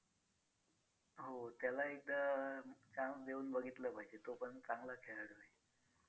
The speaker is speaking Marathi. हो त्याला एकदा chance देऊन बघितलं पाहिजे तो पण चांगला खेळाडू आहे.